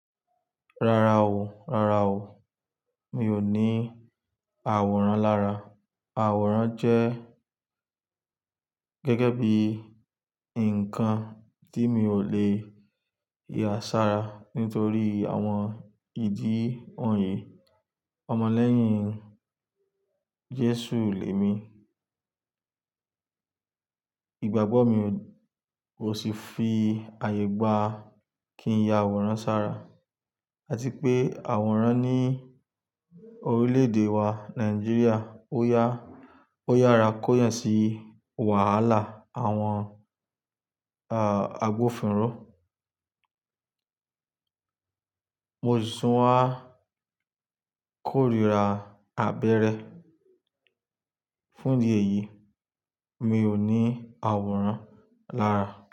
Rárá o, rárá o. Mi ò ní àwòrán lára. Àwòrán jẹ́ gẹ́gẹ́ bí ǹkan tí mi ò lè yà sára nítorí àwọn ìdí wọ̀nyí. Ọmọ lẹ́yìn Jésù lè mi. Ìgbàgbọ́ mi ò sì fi àyè gbà kí ń ya àwòrán sára. Àti pé àwòrán ní orílẹ̀-èdè wa Nàìjíríà ó yára kó yàn sí wàhálà àwọn àgbófinró. Mo sì tún wá kórira abẹ́rẹ́. Fún ìdí èyí, mi ò ní àwòrán lára.